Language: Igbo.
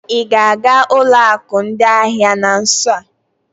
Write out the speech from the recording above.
Ị ga-aga ụlọ akụ ndị ahịa na nso a?